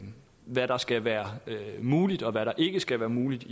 hvad der skal være muligt og hvad der ikke skal være muligt